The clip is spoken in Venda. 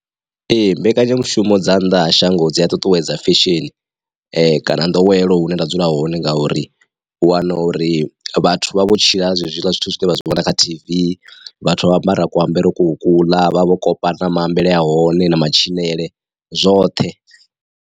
Ee mbekanyamushumo dza nnḓa ha shango dzi a ṱuṱuwedza fesheni, kana ndowelo hune nda dzula hone ngauri u wana uri vhathu vha vho tshila hezwiḽa zwithu zwine vha zwi vhona kha T_V, vhathu vha ambara kuambarele ko kula vha vho kopa na maambele a hone na matshilele zwoṱhe.